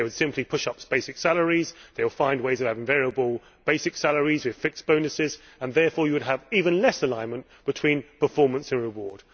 They will simply push up basic salaries, they will find ways of having variable basic salaries, with fixed bonuses and therefore you would have even less alignment between performance and reward.